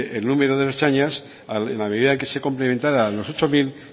el número de ertzaintzas en la medida que se complementara los ocho mil